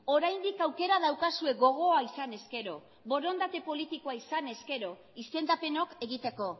oraindik aukera daukazue gogoa izan ezkero borondate politikoa izanez gero izendapenok egiteko